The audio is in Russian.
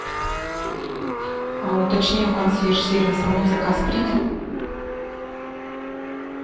а уточни у консьерж сервиса мой заказ принят